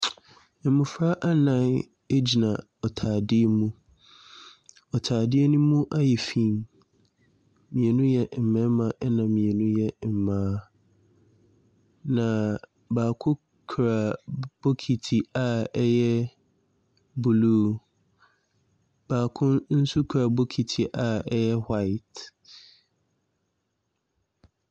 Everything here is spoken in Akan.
Mmɔfra nnan gyina ɔtadeɛ mu. Ɔtadeɛ no mu ayɛ fi. Mmienu yɛ mmarima, ɛna mmienu yɛ mmaa, na baako kura bokiti a ɛyɛ blue, baako nso kura bokiti a ɛyɛ white.